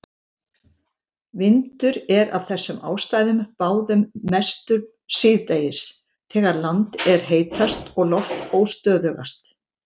Vindur er af þessum ástæðum báðum mestur síðdegis þegar land er heitast og loft óstöðugast.